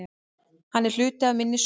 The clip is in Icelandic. Hann er hluti af minni sögu.